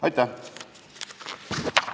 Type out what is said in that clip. Aitäh!